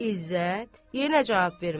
İzzət yenə cavab vermədi.